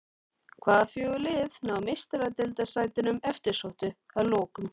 Hvaða fjögur lið ná Meistaradeildarsætunum eftirsóttu að lokum?